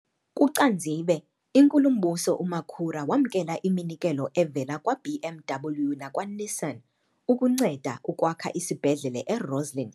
KuCanzibe, iNkulumbuso uMakhura wamkela iminikelo evela kwa-BMW nakwa-Nissan ukunceda ukwakha isibhedlele e-Rossyln